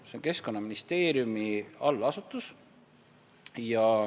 See on Keskkonnaministeeriumi allasutus.